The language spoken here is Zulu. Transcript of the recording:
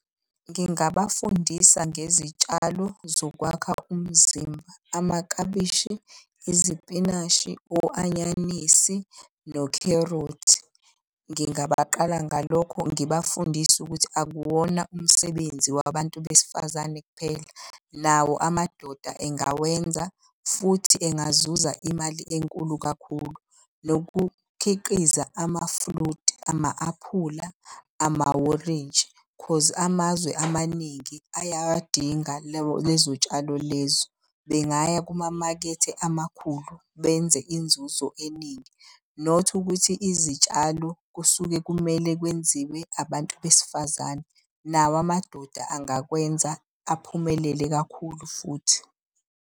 Ngingabafundisa ngezitshalo zokwakha umzimba, amaklabishi, izipinatshi, o-anyanisi nokherothi. Ngingabaqala ngalokho ngibafundise ukuthi akuwona umsebenzi wabantu besifazane kuphela, nawo amadoda engawenza futhi engazuza imali enkulu kakhulu. Nokukhiqiza ama-fruit, ama-aphula, amaworintshi 'cause amazwe amaningi ayawadinga lezo y'tshalo lezo, bengaya kumamakethe amakhulu benze inzuzo eningi. Not ukuthi izitshalo kusuke kumele kwenziwe abantu besifazane, nawo amadoda angakwenza aphumelele kakhulu futhi.